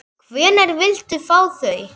Hvenær viltu fá þau?